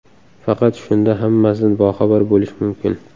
Faqat shunda hammasidan boxabar bo‘lish mumkin.